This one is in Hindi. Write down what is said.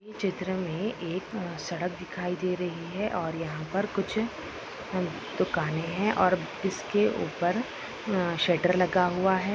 चित्र में एक सड़क दिखाई दे रही है और यहाँ पर कुछ दुकाने है और इसके ऊपर स्वटर लगा हुआ है।